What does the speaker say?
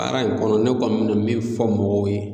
Baara in kɔnɔ ne kɔni bɛna min fɔ mɔgɔw ye